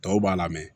Tɔw b'a la mɛ